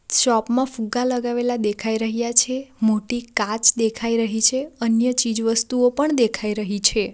Shop માં ફુગ્ગા લગાવેલા દેખાઈ રહ્યા છે મોટી કાચ દેખાઈ રહી છે અન્ય ચીજ વસ્તુઓ પણ દેખાઈ રહી છે.